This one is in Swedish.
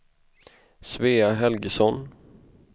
Svea Helgesson